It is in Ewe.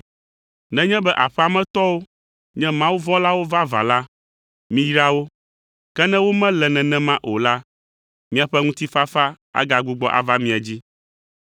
Nenye be aƒea me tɔwo nye mawuvɔ̃lawo vavã la, miyra wo, ke ne womele nenema o la, miaƒe ŋutifafa agagbugbɔ ava mia dzi.